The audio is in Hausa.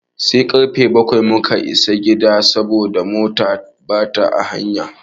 Sai karfe bakwai muka isa gida saboda mota ta ɓaci a hanya.